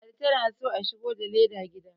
ladi tana so a shigo da leda gida